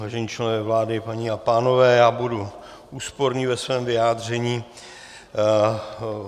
Vážení členové vlády, paní a pánové, já budu úsporný ve svém vyjádření.